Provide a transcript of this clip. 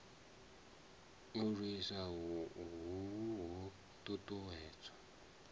u lwisa hohu ho ṱuṱuwedzwa